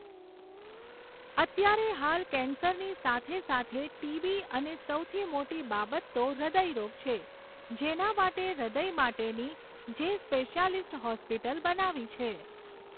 અત્યારે હાલ કૅન્સરની સાથે સાથે ટીબી અને સૌથી મોટી બાબત તો હૃદયરોગ છે, જેના માટે હૃદય માટેની જે સ્પેશિયાલિસ્ટ હૉસ્પિટલ બનાવી છે.